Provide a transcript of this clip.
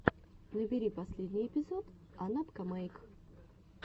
набери последний эпизод анапкамэйк